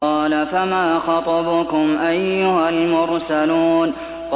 ۞ قَالَ فَمَا خَطْبُكُمْ أَيُّهَا الْمُرْسَلُونَ